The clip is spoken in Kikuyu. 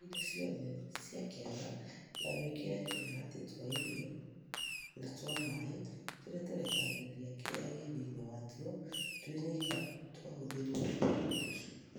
Ruta indo ciothe ciĩ kĩaga na wĩkĩre tũmĩharatĩ twa irio na twa maaĩ tũrĩa tũrekagĩrĩria kĩrĩa gĩ thĩini watuo twĩnyika twahuthithio nĩ tũcui